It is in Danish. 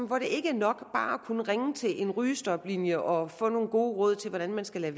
hvor det ikke er nok bare at kunne ringe til en rygestoplinje og få nogle gode råd til hvordan man skal lade